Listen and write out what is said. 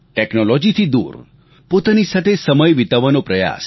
ટેક્નોલોજીથી દૂર પોતાની સાથે સમય વિતાવવાનો પ્રયાસ